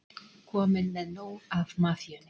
Kominn með nóg af mafíunni